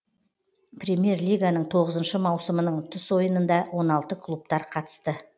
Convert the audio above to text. премьер лиганың тоғызыншы маусымының ұтыс ойынында он алтыншы клубтар қатысты